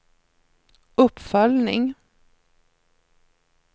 uppföljning